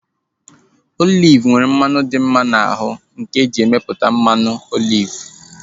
Oliv nwere mmanụ dị mma n'ahu nke eji emeputa mmanụ oliv